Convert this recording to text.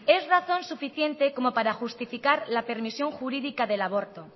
es razón suficiente como para justificar la permisión jurídica del aborto